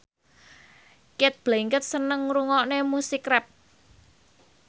Cate Blanchett seneng ngrungokne musik rap